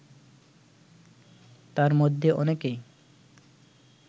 তার মধ্যে অনেকেই